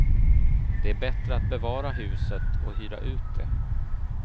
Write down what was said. Det är bättre att bevara huset och hyra ut det.